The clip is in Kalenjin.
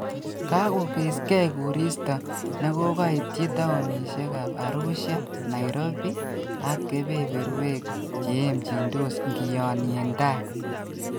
Kakoikeskei koristo nekokaityi taonisheka Arusha, Nairobiak kebeberwek cheemjindos ngionyen taai